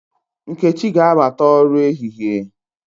Nkechi ga-abata ọrụ ehịhie